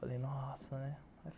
Falei, nossa, né?